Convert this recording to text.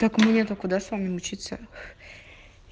так мне-то куда с вами учиться